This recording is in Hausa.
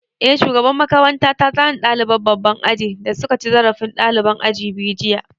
Eh, shugaban makaranta ta zane ɗaliban babban aji da suka ci zarafin ɗaliban aji biyu jiya